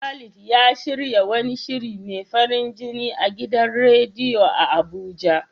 Khalid ya shirya wani shiri mai farin jini a gidan radiyo a Abuja.